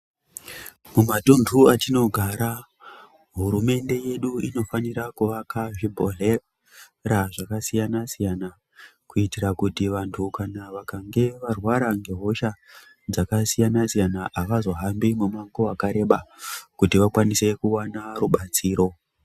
Mumatundu etinogara hurumende yedu inofanira kuvaka zvibhohlera zvakasiyana siyana kuitira kuti vantu vakange varwara ngehosha dzakasiyana siyana avazohambi mumango wakareba kuti vakwanise kuwana rubatsiro.